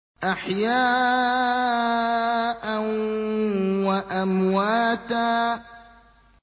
أَحْيَاءً وَأَمْوَاتًا